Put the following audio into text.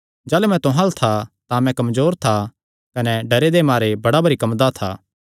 जाह़लू मैं तुहां अल्ल था तां मैं कमजोर था कने डरे दे मारे बड़ा भरी कम्मदा था